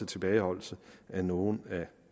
tilbageholdelse af nogle af